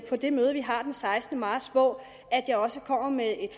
på det møde vi har den sekstende marts hvor jeg også kommer med et